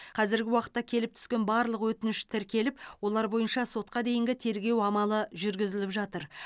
қазіргі уақытта келіп түскен барлық өтініш тіркеліп олар бойынша сотқа дейінгі тергеу амалы жүргізіліп жатыр